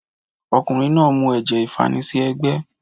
Ọkùnrin náà mu ẹ̀jẹ̀ ìfanisí ẹ́gbẹ́